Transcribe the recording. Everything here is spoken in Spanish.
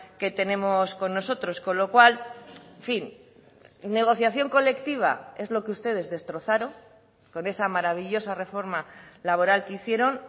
que tenemos con nosotros con lo cual en fin negociación colectiva es lo que ustedes destrozaron con esa maravillosa reforma laboral que hicieron